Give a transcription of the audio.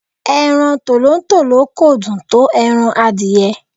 Ẹran Tòlótòló kò dùn tó ẹran adìẹ.